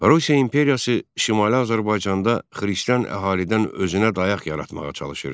Rusiya imperiyası Şimali Azərbaycanda xristian əhalidən özünə dayaq yaratmağa çalışırdı.